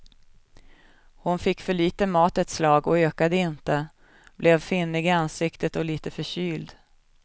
Hon fick för litet mat ett slag och ökade inte, blev finnig i ansiktet och lite förkyld.